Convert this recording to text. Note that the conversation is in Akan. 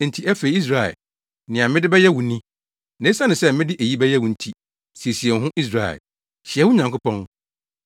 “Enti afei, Israel, nea mede bɛyɛ wo ni, na esiane sɛ mede eyi bɛyɛ wo nti, siesie wo ho, Israel. Hyia wo Nyankopɔn.”